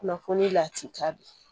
Kunnafoni lati ta be